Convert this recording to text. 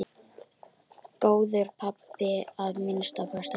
Góður pabbi að minnsta kosti.